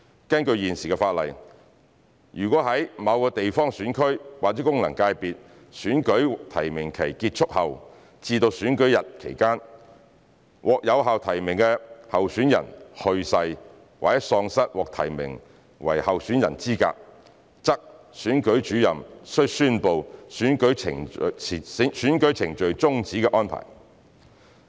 根據現時法例，如在某地方選區或功能界別的選舉提名期結束後至選舉日期間，獲有效提名的候選人去世，或喪失獲提名為候選人的資格，則選舉主任須宣布選舉程序終止的安排。